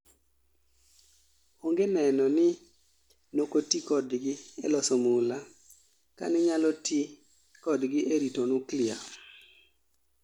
Onge neno ni nokotii kodgi e loso mula ka ninyalo tii kodgi e rito nuklia